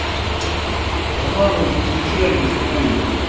роман он чрезвычайно тупой блин